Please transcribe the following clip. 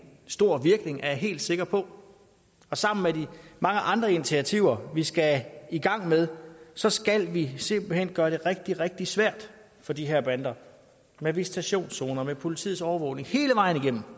stor virkning er jeg helt sikker på og sammen med de mange andre initiativer vi skal i gang med så skal vi simpelt hen gøre det rigtig rigtig svært for de her bander med visitationszoner med politiets overvågning hele vejen igennem